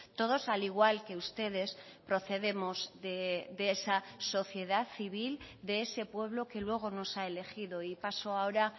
todos al igual que ustedes procedemos de esa sociedad civil de ese pueblo que luego nos ha elegido y paso ahora